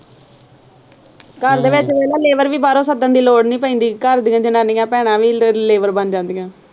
ਘਰ ਦੇ ਵਿੱਚ ਵੇਖ ਲੈ labor ਵੀ ਬਾਹਰੋਂ ਸੱਦਣ ਦੀ ਲੋੜ ਨਹੀਂ ਪੈਂਦੀ ਘਰ ਦੀਆਂ ਜਨਾਨੀਆਂ ਭੈਣਾਂ ਵੀ labor ਬਣ ਜਾਂਦੀਆਂ।